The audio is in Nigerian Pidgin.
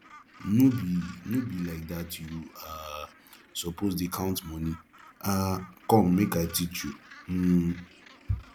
no be no be like dat you um suppose to dey count money um come make i teach you um